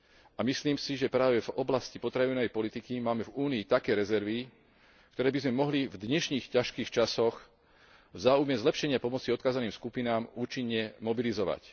A myslím si, že práve v oblasti potravinovej politiky máme v Únii také rezervy, ktoré by sme mohli v dnešných ťažkých časoch v záujme zlepšenia pomoci odkázaným skupinám účinne mobilizovať.